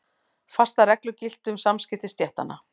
Fastar reglur giltu um samskipti stéttanna.